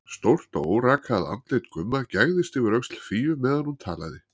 Stórt og órakað andlit Gumma gægðist yfir öxl Fíu meðan hún talaði.